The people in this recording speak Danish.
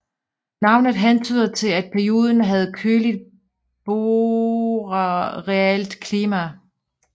Navnet hentyder til at perioden havde køligt borealt klima